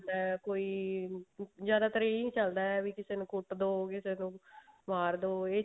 ਹੈ ਕੋਈ ਜਿਆਦਾ ਤਰ ਇਹੀ ਚੱਲਦਾ ਵੀ ਕਿਸੇ ਨੂੰ ਕੁੱਟ ਮਾਰਦੋ